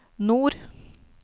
nord